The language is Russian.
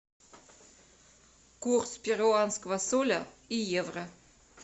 курс перуанского соля и евро